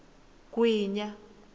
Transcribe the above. gwinya